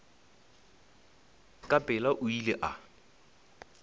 ka pela o ile a